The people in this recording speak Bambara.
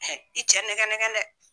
Ɛ i cɛ nɛgɛ negɛn dɛ.